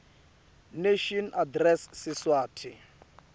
nation address siswati